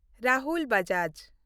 Rahul Bajaj